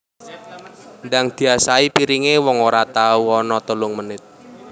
Ndang diasahi piringe wong ora ono telung menit